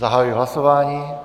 Zahajuji hlasování.